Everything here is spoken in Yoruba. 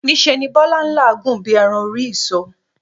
Ní se ni Bólá n làágùn bí eran orí ìso